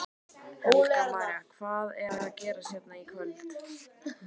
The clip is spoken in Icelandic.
Helga María: Hvað er að gerast hérna í kvöld?